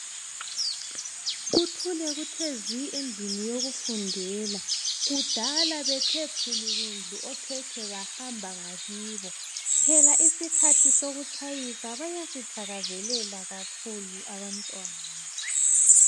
Kuthule kuthe zwi endlini yokufundela. Kudala bethe phulukundlu okhekhe bahamba ngakibo. Phela isikhathi sokutshayisa bayasithakazelela kakhulu abantwana.